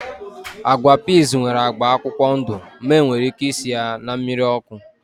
Agwa piiz nwere agba akwụkwọ ndụ ma enwere ike isi ya na mmiri ọkụ